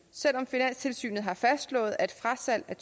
selv om finanstilsynet har fastslået at frasalg af